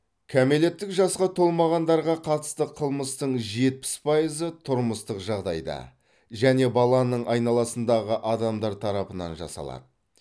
кәмелеттік жасқа толмағандарға қатысты қылмыстың жетпіс пайызы тұрмыстық жағдайда және баланың айналасындағы адамдар тарапынан жасалады